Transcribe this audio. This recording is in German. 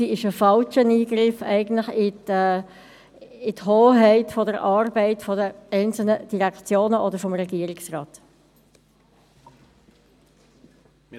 Sie ist ein falscher Eingriff in die Hoheit der Arbeit der einzelnen Direktionen oder des Regierungsrates.